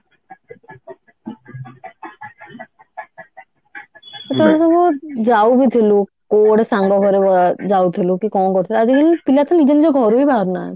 ସେତେବେଳେ ସବୁ ଯାଉ ବି ଥିଲୁ କଉ ଗୋଟେ ସାଙ୍ଗ ଘରକୁ ଯାଉଥିଲୁ କି କଣ କରୁଥିଲୁ ଆଜିକାଲି ପିଲା ତ ନିଜ ନିଜ ଘରୁ ହିଁ ବାହାରୁ ନାହାନ୍ତି